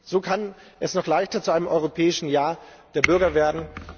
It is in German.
So kann es noch leichter zu einem Europäischen Jahr der Bürger werden.